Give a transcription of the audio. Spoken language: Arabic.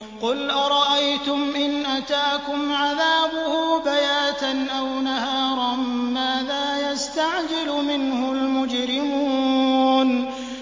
قُلْ أَرَأَيْتُمْ إِنْ أَتَاكُمْ عَذَابُهُ بَيَاتًا أَوْ نَهَارًا مَّاذَا يَسْتَعْجِلُ مِنْهُ الْمُجْرِمُونَ